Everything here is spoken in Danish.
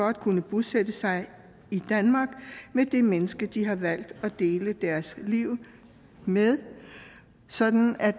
at kunne bosætte sig i danmark med det menneske de har valgt at dele deres liv med sådan at